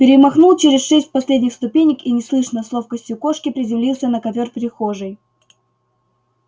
перемахнул через шесть последних ступенек и неслышно с ловкостью кошки приземлился на ковёр прихожей